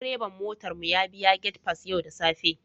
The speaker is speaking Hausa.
Direban motar mu ya biya gate pass yau da safe